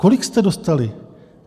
Kolik jste dostali?